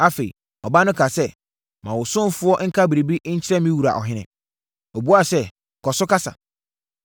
Afei, ɔbaa no kaa sɛ, “Ma wo ɔsomfoɔ nka biribi nkyerɛ me wura ɔhene.” Ɔbuaa sɛ, “Kɔ so kasa.”